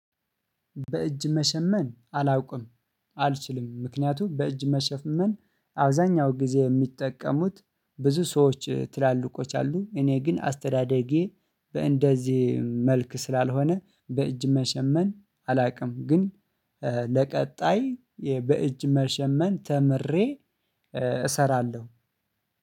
በእጅ መሸመን አላውቅም አልችልም። ምክኒያቱም በእጅ መሸመን አብዛኛውን ጊዜ ሚጠቀሙት ብዙ ሰዎች ትላልቆች አሉ እኔ ግን አስተዳደጌ በእንደዚህ መልክ ስላልሆነ በእጅ መሸመን አላቅም። ግን በቀጣይ በእጅ መሸመን ተምሬ እሰራለሁ